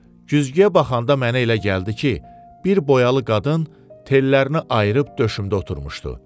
Güzgüyə baxanda mənə elə gəldi ki, bir boyalı qadın tellərini ayırıb döşümdə oturmuşdu.